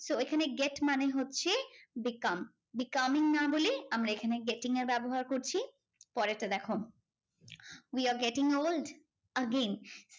So এখানে get মানে হচ্ছে become becoming না বলে আমরা এখানে getting এর ব্যবহার করছি পরেরটা দেখো we are getting old again